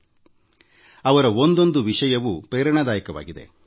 ಅವರ ಬಗೆಗಿನ ಒಂದೊಂದು ವಿಷಯವೂ ಸ್ಫೂರ್ತಿದಾಯಕವಾಗಿದೆ